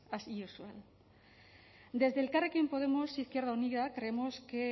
as usual desde elkarrekin podemos izquierda unida creemos que